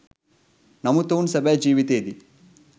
නමුත් ඔවුන් සැබෑ ජීවිතයේදී